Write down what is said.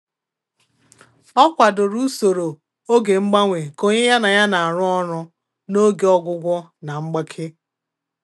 Ọ kwadoro usoro oge mgbanwe nke onye ya na ya na-arụ ọrụ n’oge ọgwụgwọ na mgbake.